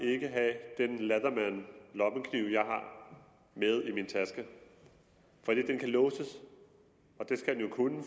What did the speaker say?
ikke have den leatherman lommekniv jeg har med i min taske fordi den kan låses og det skal den jo kunne